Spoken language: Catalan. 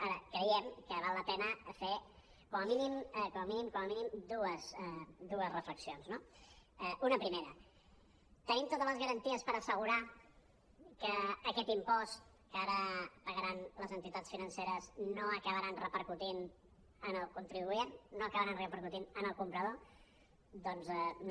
ara creiem que val la pena fer com a mínim com a mínim com a mínim dues reflexions no una primera tenim totes les garanties per assegurar que aquest impost que ara pagaran les entitats financeres no acabarà repercutint en el client no acabarà repercutint en el comprador doncs no